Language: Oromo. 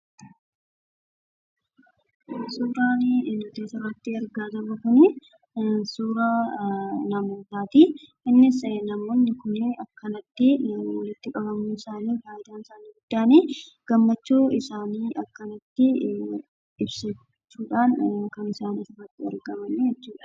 Suuraan asirratti argaa jirru kunii suuraa namootaatii. Innis namoonni kunneen akkanatti walitti qabamuun isaa fayidaan isaa inni guddaan gammachuu isaanii akkanatti ibsachuudhaan kan isaan asitti argaman jechuudha.